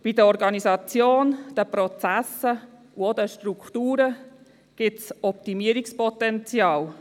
Bei der Organisation, den Prozessen und auch den Strukturen gibt es Optimierungspotenzial.